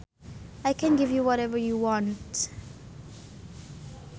I can give you whatever you want